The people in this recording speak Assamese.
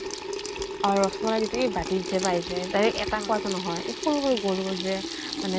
অ ৰস মলাই য্টো এই বাতিত যে পায় যে, তাৰে এটা পোৱাটো নহয়। এ সৰু সৰু গোল গোল যে মানে